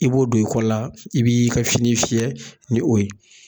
I b'o don i kɔ la, i b'i ka fini fiyɛ ni o ye.